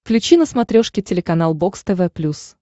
включи на смотрешке телеканал бокс тв плюс